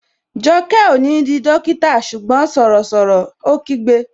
Jọkẹ́ ó ní di dókítà ṣùgbọ́n sọ̀rọ̀ sọ̀rọ̀! Ó kígbe